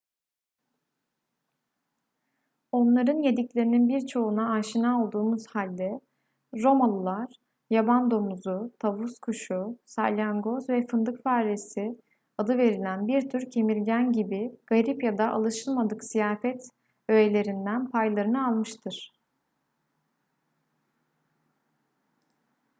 onların yediklerinin birçoğuna aşina olduğumuz halde romalılar yaban domuzu tavus kuşu salyangoz ve fındık faresi adı verilen bir tür kemirgen gibi garip ya da alışılmadık ziyafet öğelerinden paylarını almıştır